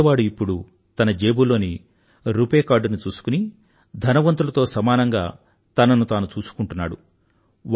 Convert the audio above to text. పేదవాడు ఇప్పుడు తన జేబులోని రుపే కార్డ్ ని చూసుకుని ధనవంతులతో సమానంగా తనను తాను చూసుకుంటున్నాడు